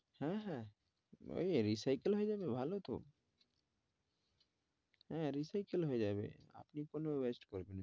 হ্যাঁ, হ্যাঁ ওই recycle হয়ে যাবে ভালো তো হ্যাঁ recycle হয়ে যাবে আপনি কেন wested করবেন?